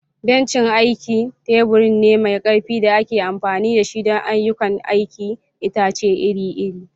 Bencin aiki tebur ne mai ƙarfi da ake amfani da shi don ayyukan aikin itace iri-iri.